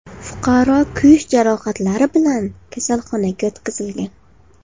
Fuqaro kuyish jarohatlari bilan kasalxonaga yotqizilgan.